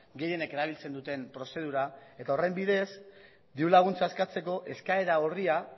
gehienek erabiltzen duten prozedura eta horren bidez dirulaguntza eskatzeko eskaera orria